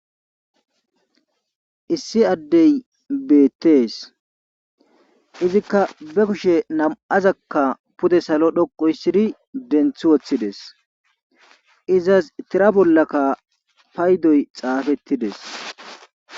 issi addey beettees izikka be kushe nam7azakka pude salo dhoqoyssidi denthi woththides izas tira bollakka paydoy xaafettides